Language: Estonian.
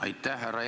Aitäh!